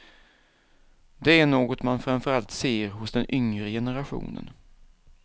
Det är något man framför allt ser hos den yngre generationen.